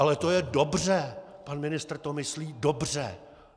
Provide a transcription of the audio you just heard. Ale to je dobře, pan ministr to myslí dobře!